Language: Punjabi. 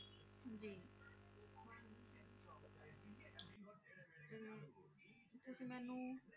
ਤੁਸੀਂ ਮੈਨੂੰ